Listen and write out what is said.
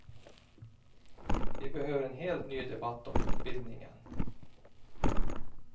Vi behöver en helt ny debatt om utbildningen.